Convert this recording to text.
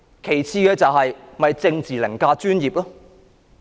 其次，這簡單反映政治凌駕專業。